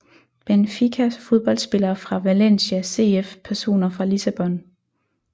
Benfica Fodboldspillere fra Valencia CF Personer fra Lissabon